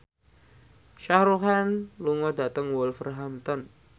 Shah Rukh Khan lunga dhateng Wolverhampton